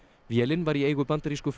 vélin var í eigu bandarísku